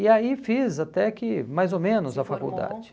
E aí fiz até que mais ou menos a faculdade. Se formou